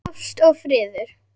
Ást og friður.